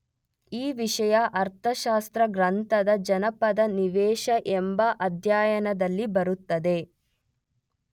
ಈ ವಿಷಯ ಅರ್ಥಶಾಸ್ತ್ರ ಗ್ರಂಥದ ಜನಪದನಿವೇಶ ಎಂಬ ಅಧ್ಯಾಯದಲ್ಲಿ ಬರುತ್ತದೆ.